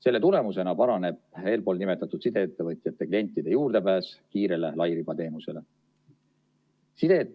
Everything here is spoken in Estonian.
Selle tulemusena paraneb eelpool nimetatud sideettevõtjate klientide juurdepääs kiirele lairibateenusele.